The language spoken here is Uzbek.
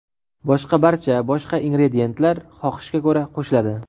boshqa barcha boshqa ingrediyentlar xohishga ko‘ra qo‘shiladi.